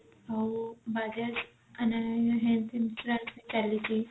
ଆଉ bajaj health insurance ବି ଚାଲିଛି